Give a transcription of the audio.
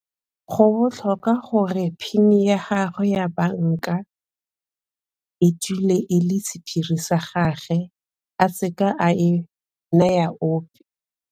Go botlhokwa gore PIN ya gagwe ya banka e dule e le sephiri sa gagwe a se ka a e naya ope.